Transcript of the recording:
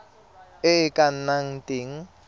e e ka nnang teng